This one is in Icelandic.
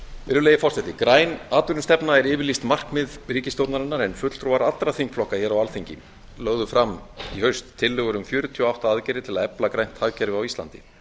virðulegi forseti græn atvinnustefna er yfirlýst markmið ríkisstjórnarinnar en fulltrúar allra þingflokka hér á alþingi lögðu fram í haust tillögur um fjörutíu og átta aðgerðir til að efla grænt hagkerfi á íslandi